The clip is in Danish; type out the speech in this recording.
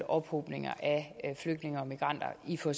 ophobning af flygtninge og migranter i for